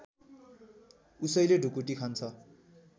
उसैले ढुकुटी खान्छ